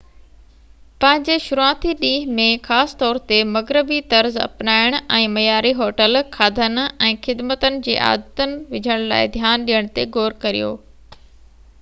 پنهنجي شروعاتي ڏينهن ۾ خاص طور تي مغربي-طرز اپنائڻ ۽ معياري هوٽل کاڌن ۽ خدمتن جي عادت وجهڻ لاءِ ڌيان ڏيڻ تي غور ڪريو